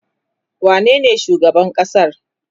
wane ne shugaban ƙasar?